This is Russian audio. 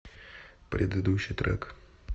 предыдущий трек